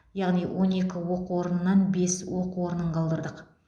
яғни он екі оқу орнынан бес оқу орнын қалдырдық